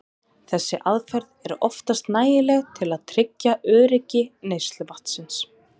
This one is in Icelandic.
Þessi aðferð er oftast nægileg til að tryggja öryggi neysluvatnsins.